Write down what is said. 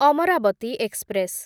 Amravati express